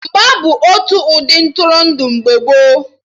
Mgba bụ otu ụdị Ntụrụndụ mgbe gboo